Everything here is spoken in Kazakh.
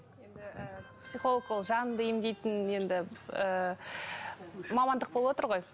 енді і психолог ол жаныңды емдейтін енді ыыы мамандық болып отыр ғой